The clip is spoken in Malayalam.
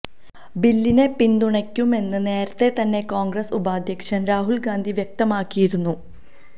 ബില്ലിനെ പിന്തുണയ്ക്കുമെന്ന് നേരത്തെ തന്നെ കോൺഗ്രസ് ഉപാധ്യക്ഷൻ രാഹുൽ ഗാന്ധി വ്യക്തമാക്കിയിരുന്നു